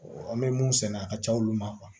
an bɛ mun sɛnɛ a ka ca olu ma